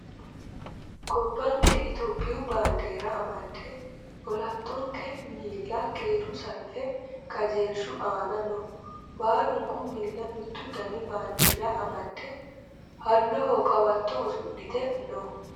Gobbanke itiyoophiyu baandiira amadde olantonke miilla keeru salfe qajeelshu aana no. Baalunku miilla mittu Dani baandiira amadde halloho qawatto usudhite no.